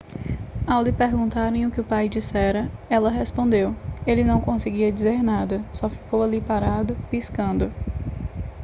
ao lhe perguntarem o que o pai dissera ela respondeu ele não conseguia dizer nada só ficou ali parado piscando